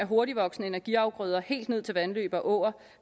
hurtigtvoksende energiafgrøder helt ned til vandløb og åer